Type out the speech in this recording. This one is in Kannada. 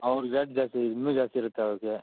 rate ಜಾಸ್ತಿ ಇನ್ನು ದ್ಯಸ್ತಿ ಇರುತ್ತೆ ಅವರ್ಗೆ.